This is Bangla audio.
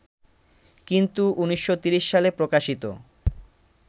কিন্তু ১৯৩০ সালে প্রকাশিত